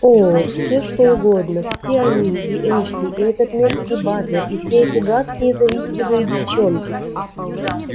о все что угодно все они и эшли и этот мерзкий батлер и все эти гадкие завистливые девчонки